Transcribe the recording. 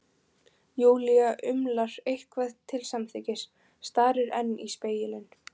Júlía umlar eitthvað til samþykkis, starir enn í spegilinn.